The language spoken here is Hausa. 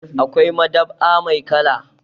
Akwai madab'a mai kala.